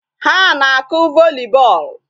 Ha na-akụ volley ball.